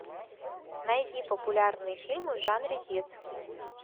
найди популярные фильмы в жанре детский